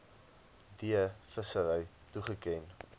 d vissery toegeken